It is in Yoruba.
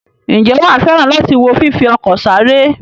Ǹjẹ́ wà á fẹ́ràn láti wo fífi ọkọ̀ sáré?